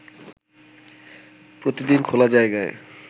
প্রতিদিন খোলা জায়গায়